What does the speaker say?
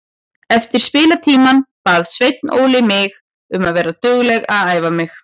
Eftir spilatímann bað Sveinn Óli mig um að vera dugleg að æfa mig.